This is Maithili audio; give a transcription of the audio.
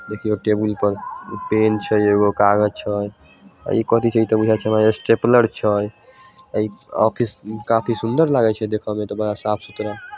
देखियो एक टेबुल पर पेन छै एगो कागज छै इ कथी छै इ ते बुझाए छै हमरा स्टेपलर छै इ ऑफिस काफी सुंदर लागे छै देखे में इ त बड़ा साफ-सुथरा --